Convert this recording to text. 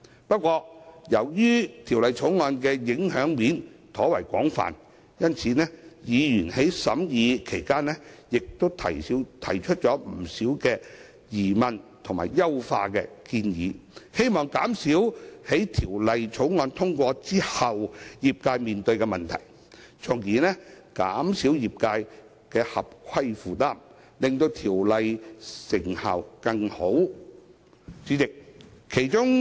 不過，由於《條例草案》的影響層面廣泛，委員在審議期間提出了多項疑問及優化建議，藉此減少《條例草案》通過後業界所面對的問題，從而減少業界的合規負擔，以提升《條例》的成效。